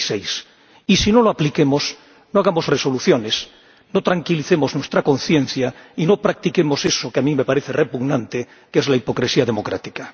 96. Y, si no lo aplicamos, no hagamos resoluciones, no tranquilicemos nuestra conciencia y no practiquemos eso, que a mí me parece repugnante, que es la hipocresía democrática.